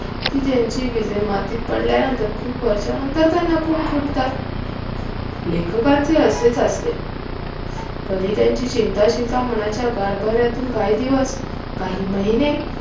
कि ज्यांची बीजे मातीत पडल्यानंतर खूप वर्षानंतर त्यांना कोंब फुटतात लेखकांचे असेच असते कधी त्यांची चिंताशिलता मनाच्या गाभाऱ्यातून काही दिवस, काही महीने